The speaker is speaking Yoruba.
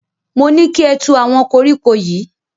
Mo ní kí ẹ tu àwọn kọríkọ yìí.